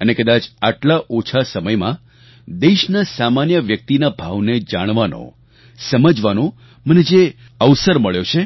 અને કદાચ આટલા ઓછા સમયમાં દેશના સામાન્ય વ્યક્તિના ભાવને જાણવાનોસમજવાનો મને જે અવસર મળ્યો છે